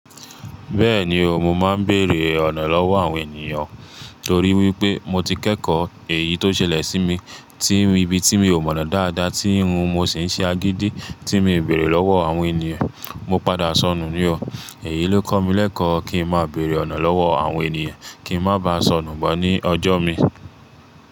Bẹ́ẹ̀ni o, mo máa ń bèrè ọ̀nà lọ́wọ́ àwọn ènìyàn torí wípé mo ti kẹ́kọ̀ọ́ èyí tó ṣẹlẹ̀ sí mi, tí ibi tí mi ò mọ̀nà dáadáa tí irun mo sì ń ṣe agídí tí mo bèrè lọ́wọ́ àwọn ènìyàn mo padà sọnù ní o. Èyí ló kọ́ mi lẹ́kọ̀ọ́ kí ń má bèrè ọ̀nà lọ́wọ́ àwọn ènìyàn, kí ń má bá sọnù máa ní ọjọ́ mi.